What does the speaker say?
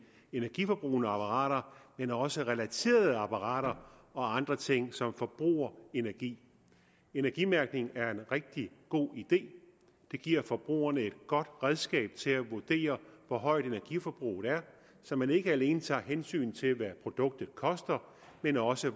energiforbrugende apparater men også relaterede apparater og andre ting som forbruger energi energimærkning er en rigtig god idé den giver forbrugerne et godt redskab til at vurdere hvor højt energiforbruget er så man ikke alene tager hensyn til hvad produktet koster men også